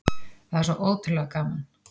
Það er svo ótrúlega gaman